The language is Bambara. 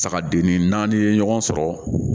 Sagadenni n'i ye ɲɔgɔn sɔrɔ